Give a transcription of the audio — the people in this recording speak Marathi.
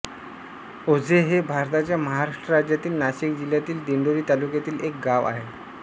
ओझे हे भारताच्या महाराष्ट्र राज्यातील नाशिक जिल्ह्यातील दिंडोरी तालुक्यातील एक गाव आहे